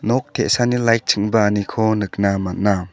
nok te·sani lait ching·baaniko nikna man·a.